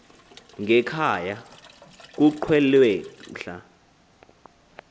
ngekhaya kuqwelwe mhla